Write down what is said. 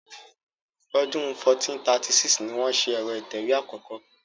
Ọdún 1436 ni wọ́n ṣe ẹ̀rọ ìtẹ̀wé àkọ́kọ́.